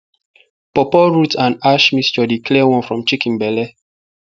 pawpaw root and ash mixture dey clear worm from chicken belle